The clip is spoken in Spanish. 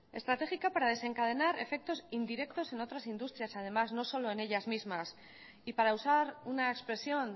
estratégica para desencadenar efectos indirectos en otras industrias además no solo en ellas mismas y para usar una expresión